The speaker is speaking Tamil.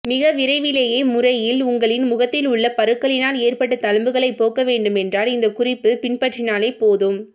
மிக விரைவிலே முறையில் உங்களின் முகத்தில் உள்ள பருக்களினால் ஏற்பட்ட தழும்புகளை போக்க வேண்டுமென்றால் இந்த குறிப்பு பின்பற்றினாலே போதும்